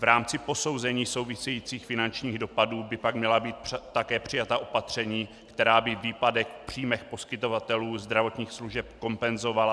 V rámci posouzení souvisejících finančních dopadů by pak měla být také přijata opatření, která by výpadek v příjmech poskytovatelů zdravotních služeb kompenzovala.